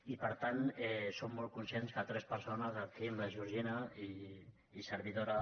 i per tant som molt conscients que tres persones el quim la georgina i servidora